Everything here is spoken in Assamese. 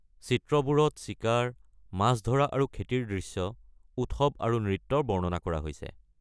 চিত্ৰবোৰত চিকাৰ, মাছ ধৰা আৰু খেতিৰ দৃশ্য, উৎসৱ আৰু নৃত্যৰ বৰ্ণনা কৰা হৈছে।